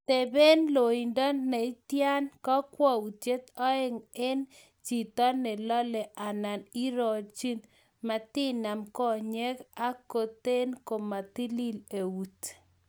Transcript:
teben loindo neitei kakwoutik oeng' eng' chito ne lolei anan iryonyi , matinam konyek ak kote komatalil eut